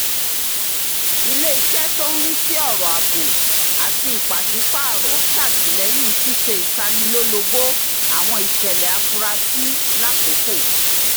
ilé iṣẹ́ tó ń rí sí ọ̀rọ̀ ààbò àti ìpàsípààrọ̀ ṣàtìlẹyìn ṣíṣe ìtanilólobó àwọn ìṣẹ̀lẹ̀ àfurasí lákòókò